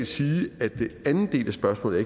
sige at den andel af spørgsmålet